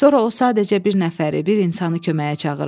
Sonra o sadəcə bir nəfəri, bir insanı köməyə çağırırdı.